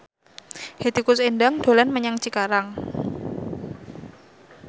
Hetty Koes Endang dolan menyang Cikarang